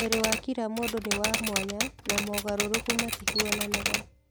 Mwĩrĩ wa kira mũndũ ni wa mwanya na mogarũrũku matihuananaga.